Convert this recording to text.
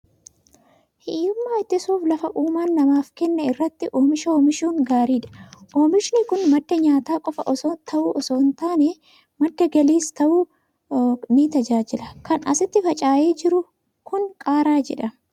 Hiyyummaa ittisuuf lafa uumaan namaaf kenne irratti oomisha oomishuun gaariidha. Oomishni kun madda nyaataa qofaa ta'uu osoo hin taane, madda galiis ta'uun ni tajaajila. Kan asitti faca'ee jiru kun qaaraa jedhama.